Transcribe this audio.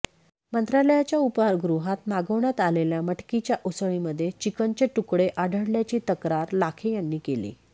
मंत्रालयाच्या उपाहारगृहात मागवण्यात आलेल्या मटकीच्या उसळीमध्ये चिकनचे तुकडे आढळल्याची तक्रार लाखे यांनी केली